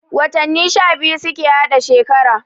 Watanni sha biyu suke hada shekara